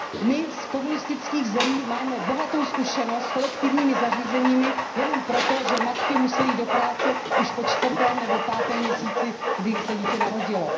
My z komunistických zemí máme bohatou zkušenost s kolektivními zařízeními jenom proto, že matky musely jít do práce už po čtvrtém nebo pátém měsíci, kdy se dítě narodilo.